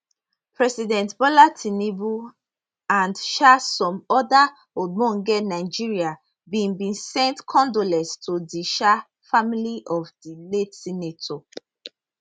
president bola tinubu and um some oda ogbonge nigerians bin bin send condolences to di um family of di late senator